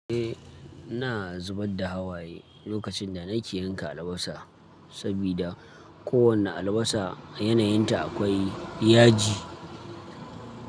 Eh, ina zubar da hawaye lokacin da nake yanka albasa, sabida kowane albasa yanayinta akwai yaji.